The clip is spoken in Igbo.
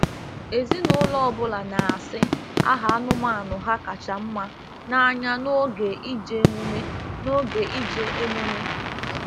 Ezinụlọ ọ bụla na-asị aha anụmanụ ha kacha mma n'anya n'oge ije emume n'oge ije emume